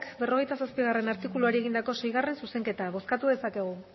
berrogeita zazpigarrena artikuluari egindako seigarrena zuzenketa bozkatu dezakegu